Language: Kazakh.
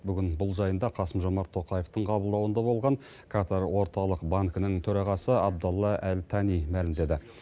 бүгін бұл жайында қасым жомарт тоқаевтың қабылдауында болған катар орталық банкінің төрағасы абдалла әл тани мәлімдеді